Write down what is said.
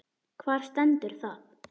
Hvar stendur það?